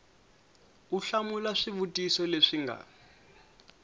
u hlamula swivutiso leswi nga